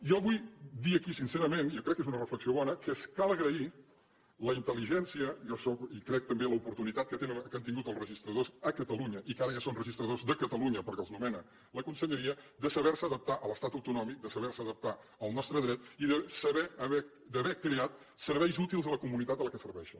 jo vull dir aquí sincerament jo crec que és un reflexió bona que cal agrair la intel·ligència i crec també l’oportunitat que han tingut els registradors a catalunya i que ara ja són registradors de catalunya perquè els nomena la conselleria de saber se adaptar a l’estat autonòmic de saber se adaptar al nostre dret i d’haver creat serveis útils a la comunitat que serveixen